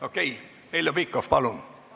Okei, Heljo Pikhof, palun!